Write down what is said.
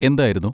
എന്തായിരുന്നു?